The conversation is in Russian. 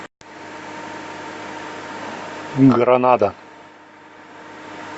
гранада